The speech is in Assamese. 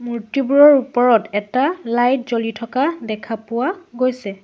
মূৰ্ত্তিবোৰৰ ওপৰত এটা লাইট জ্বলি থকা দেখা পোৱা গৈছে।